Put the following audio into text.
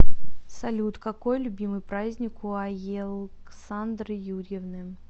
салют какой любимый праздник у аелксандры юрьевны